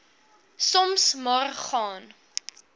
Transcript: soms maar gaan